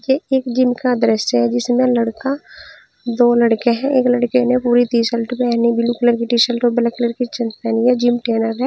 ये एक जिम का दृश्य है जिसमें लड़का दो लड़के हैं एक लड़के ने पूरी टी शर्ट पहनी ब्लू कलर की टी शर्ट और ब्लैक कलर की जींस पहनी है जिम ट्रेनर है।